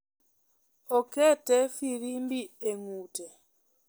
Okete firimbi e ng'ute .